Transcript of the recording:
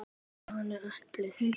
Stjáni elti.